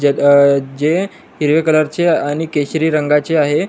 जे क जे हिरव्या कलर चे आणि केशरी रंगाचे आहे.